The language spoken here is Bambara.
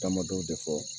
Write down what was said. Damadɔw de fɔ